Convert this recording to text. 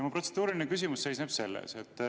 Minu protseduuriline küsimus seisneb selles.